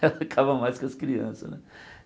ela ficava mais com as crianças, né?